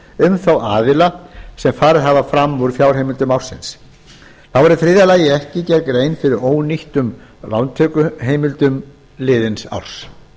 um þá aðila sem farið hafa fram úr fjárheimildum ársins þá er í þriðja lagi ekki gerð grein fyrir ónýttum lántökuheimildum liðins árs